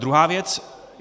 Druhá věc.